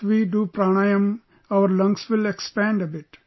If we do PRANAYAM, our lungs will expand a bit